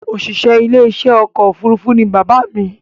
Òṣìṣẹ́ ilé iṣẹ́ ọkọ̀ òfurufú ní bàbá mi